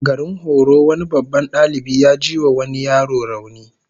Garin horo wani babban dalibi ya jiwa wani yaro rauni